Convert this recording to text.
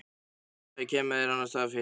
Þá það, ég kem mér annarsstaðar fyrir.